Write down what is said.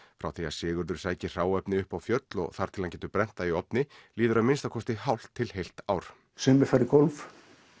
frá því Sigurður sækir hráefni upp á fjöll og þar til hann getur brennt það í ofni líður að minnsta kosti hálft til eitt ár sumir fara í golf